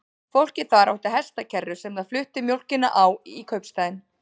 Fólkið þar átti hestakerru sem það flutti mjólkina á í kaupstaðinn.